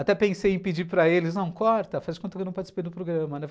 Até pensei em pedir para eles, não, corta, faz conta que eu não participei do programa, né?